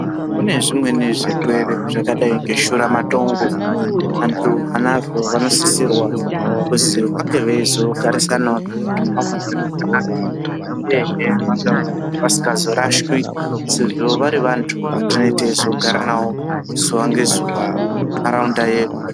Kune zvimweni zvirwere zvakadai ngeshuramatongo antu anazvo vanosisirwa kuzi vange veizogarisanawo neantu vamweni zvakanakq uyehe vasingazorashwi sezvo vanenge vari vantu vatinozogara navo zuwa ngezuwa muntaraunda yedu.